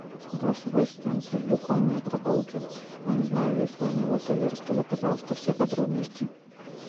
голосовой ассистент люблю конные прогулки но не знаю есть ли они в отеле расскажи пожалуйста все подробности